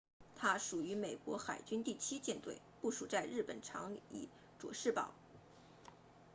它属于美国海军第七舰队部署在日本长崎佐世保